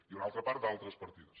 i una altra part d’altres partides